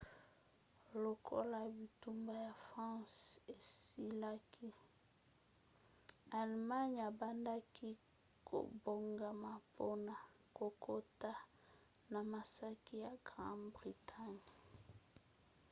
lokola bitumba ya france esilaki allemagne ebandaki kobongama mpona kokota na makasi na grande-bretagne